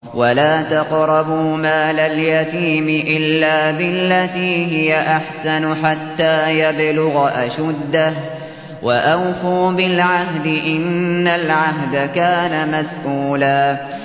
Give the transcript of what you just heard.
وَلَا تَقْرَبُوا مَالَ الْيَتِيمِ إِلَّا بِالَّتِي هِيَ أَحْسَنُ حَتَّىٰ يَبْلُغَ أَشُدَّهُ ۚ وَأَوْفُوا بِالْعَهْدِ ۖ إِنَّ الْعَهْدَ كَانَ مَسْئُولًا